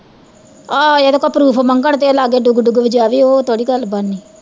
ਆਹ ਇਹਦੇ ਕੋਲੋਂ proof ਮੰਗਣ ਤੇ ਏਹ ਲਾਗੇ ਡੁਗ ਡੁਗ ਵਜਾਵੇ ਓਹ ਥੋੜੀ ਗੱਲ ਬਣਨੀ